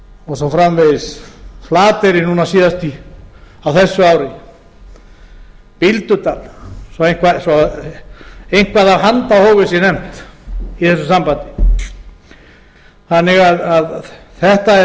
og svo framvegis flateyri núna síðast á þessu ári bíldudal svo eitthvað af handahófi sé nefnt í þessu sambandi þetta er